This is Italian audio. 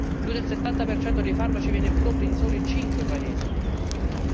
Più del 70 dei farmaci viene prodotto in soli cinque paesi nel mondo.